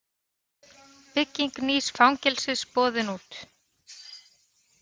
Bygging nýs fangelsis boðin út